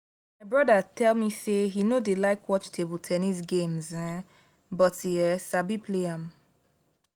my broda tell me say he no dey like watch ten nis games um but he um sabi play am